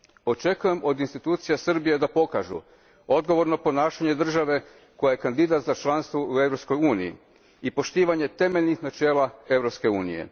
Očekujem od institucija Srbije da pokažu odgovorno ponašanje države koja je kandidat za članstvo u Europskoj uniji i poštivanje temeljnih načela Europske unije.